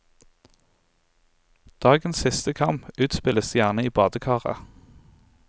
Dagens siste kamp utspilles gjerne i badekaret.